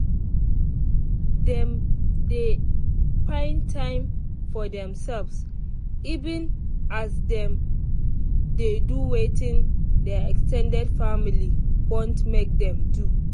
dem dey find time for themselves even as them dey do wetin their ex ten ded family want make them do